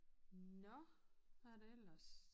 Nåh hvad er det ellers